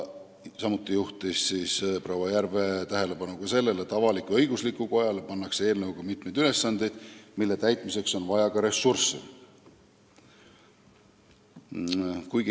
Samuti juhtis proua Järve tähelepanu sellele, et avalik-õiguslikule kojale pannakse eelnõuga mitmeid ülesandeid, mille täitmiseks on vaja ressursse.